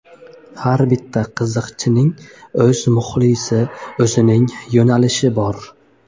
Har bitta qiziqchining o‘z muxlisi, o‘z yo‘nalishi bor.